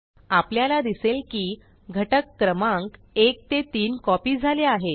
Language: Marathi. आपल्याला दिसेल की घटक क्रमांक 1 ते 3 कॉपी झाले आहेत